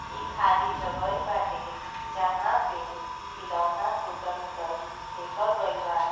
इ खाली जगह बाटे। जहां पे खिलौना टुटल उटल फैकल गईल बा।